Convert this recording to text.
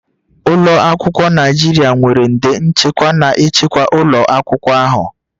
Ụlọ akwụkwọ Naijiria nwere nde nchekwa na-echekwa ụlọ akwụkwọ ahụ